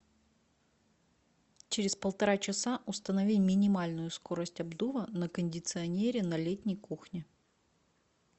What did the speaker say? через полтора часа установи минимальную скорость обдува на кондиционере на летней кухне